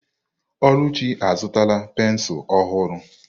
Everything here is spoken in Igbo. Oluchi azụtala pensụl ọhụrụ.